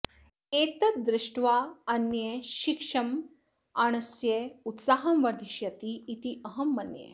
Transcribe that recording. एतद् दृष्ट्वा अन्यः शिक्षमाणस्य उत्साहं वर्धिष्यति इति अहं मन्ये